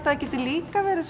það geti líka verið